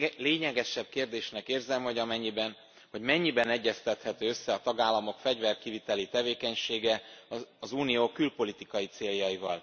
Lényegesebb kérdésnek érzem, hogy mennyiben egyeztethető össze a tagállamok fegyverkiviteli tevékenysége az Unió külpolitikai céljaival.